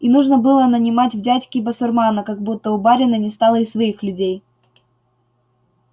и нужно было нанимать в дядьки басурмана как будто у барина не стало и своих людей